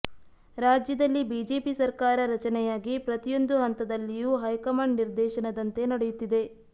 ರಾಜ್ಯದಲ್ಲಿ ಬಿಜೆಪಿ ಸರ್ಕಾರ ರಚನೆಯಾಗಿ ಪ್ರತಿಯೊಂದು ಹಂತದಲ್ಲಿಯೂ ಹೈಕಮಾಂಡ್ ನಿರ್ದೇಶನದಂತೆ ನಡೆಯುತ್ತಿದೆ